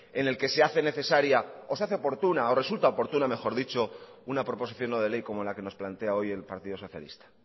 en el que se hace necesaria o se hace oportuna o resulta oportuna mejor dicho una proposición no de ley como la que nos plantea hoy el partido socialista